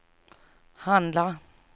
handla